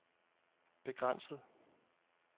begrænset